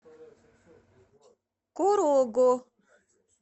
корого